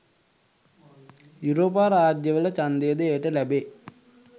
යුරෝපා රාජ්‍යවල ඡන්දය ද එයට ලැබේ